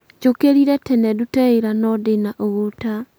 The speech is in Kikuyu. njũkĩrire tene ndute wĩra no ndĩna ũgũta